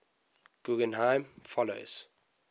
guggenheim fellows